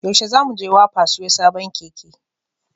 Yaushe za mu je wapa siyo sabon Keke?